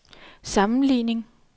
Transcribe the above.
sammenligning